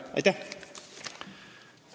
Aitäh!